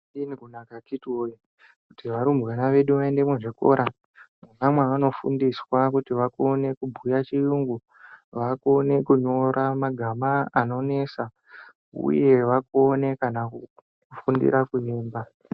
Zvakadini kunaka akiti woye kuti varumbwana vedu vaende muzvikora mwona mwavanofundiswa kuti vakone kubhuya chiyungu uye vakone kunyora magama anonesa kana kufundira kuemba .